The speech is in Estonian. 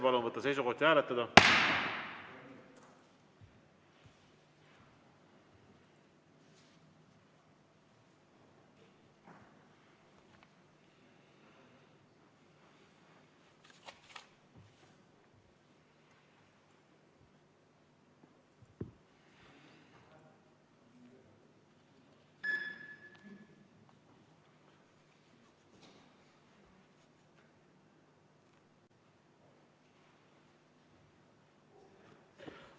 Palun võtta seisukoht ja hääletada!